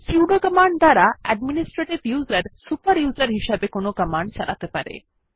sudo command দ্বারা administrative user super user হিসেবে কোনো কমান্ড চালাতে পারে